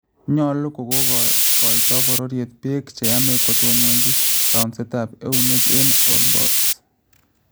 Nyolu kokoito bororyet beek cheyame kotononji kaunsetab eunek en olbult